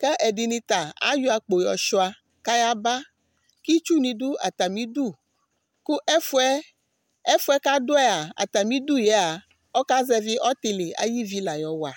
kʋ ɛdɩnɩ ta ayɔ akpo yɔshʋa, kʋ ayaba Itsu ni du atamidʋ Kʋ efʋɛ kʋ adu yɛa, atamidʋ yɛa, ɔka zɛvi ɔtɩlɩ ayʋ ivi lawa